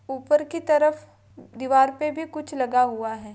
ऊपर की तरफ दीवार पे भी कुछ लगा हुआ है।